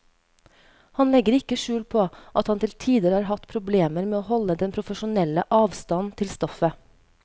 Han legger ikke skjul på at han til tider har hatt problemer med å holde den profesjonelle avstand til stoffet.